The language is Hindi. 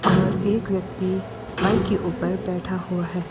और एक व्यक्ती बाइक के ऊपर बैठा हुआ है।